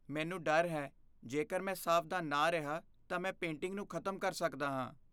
ਮੈਨੂੰ ਡਰ ਹੈ ਜੇਕਰ ਮੈਂ ਸਾਵਧਾਨ ਨਾ ਰਿਹਾ ਤਾਂ ਮੈਂ ਪੇਂਟਿੰਗ ਨੂੰ ਖ਼ਤਮ ਕਰ ਸਕਦਾ ਹਾਂ।